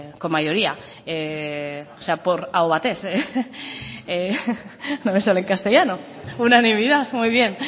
con mayoría aho batez no me sale en castellano unanimidad muy bien